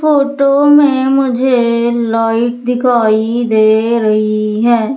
Photo में मुझे light दिखाई दे रही है।